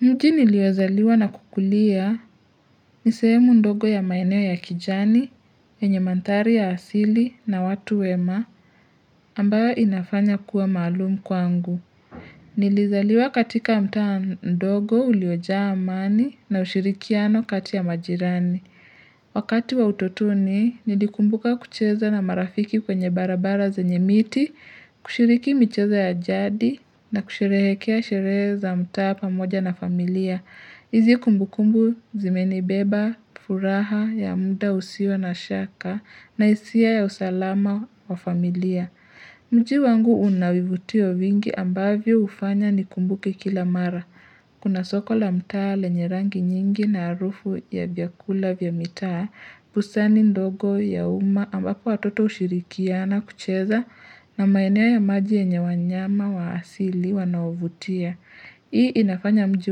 Nchi niliyozaliwa na kukulia nisehemu ndogo ya maeneo ya kijani, yenye mandhari ya asili na watu wema ambayo inafanya kuwa maalumu kwangu. Nilizaliwa katika mtaa mdogo uliojaa amani na ushirikiano kati ya majirani. Wakati wa utotoni, nilikumbuka kucheza na marafiki kwenye barabara zenye miti, kushiriki michezo ya jadi na kusheherekhea sherekhe za mtaa pamoja na familia. Hizi kumbukumbu zimenibeba, furaha, ya muda usio na shaka, na hisia ya usalama wa familia. Mji wangu una vivutio vingi ambavyo hufanya nikumbuke kila mara. Kuna soko la mtaa lenye rangi nyingi na harufu ya vyakula vya mitaa, bustani ndogo ya umma ambako watoto hushirikiana kucheza na maeneo ya maji yenye wanyama wa asili wanaovutia. Hii inafanya mji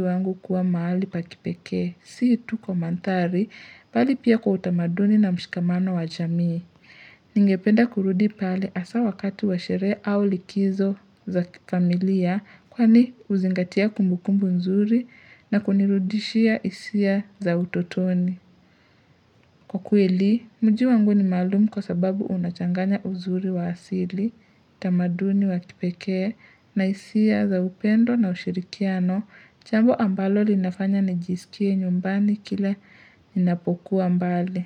wangu kuwa mahali pa kipekee, si tu kwa mandhari bali pia kwa utamaduni na mshikamano wa jamii. Ningependa kurudi pale hasa wakati wa sherekhe au likizo za kifamilia kwani huzingatia kumbukumbu nzuri na kunirudishia hisia za utotoni. Kwa kweli, mji wangu ni maalumu kwa sababu unachanganya uzuri wa asili, tamaduni wakipekee, na hisia za upendo na ushirikiano, jambo ambalo linafanya nijisikie nyumbani kila ninapokuwa mbali.